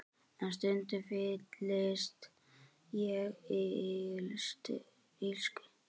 En stundum fyllist ég illsku.